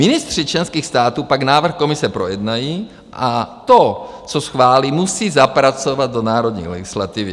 Ministři členských států pak návrh komise projednají a to, co schválí, musí zapracovat do národní legislativy.